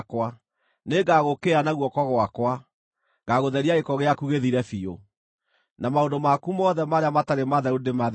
Nĩngagũũkĩrĩra na guoko gwakwa; ngagũtheria gĩko gĩaku gĩthire biũ, na maũndũ maku mothe marĩa matarĩ matheru ndĩmatherie.